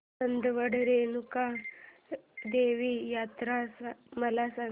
चांदवड रेणुका देवी यात्रा मला सांग